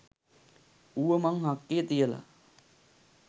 ඌව මන් හක්කේ තියල.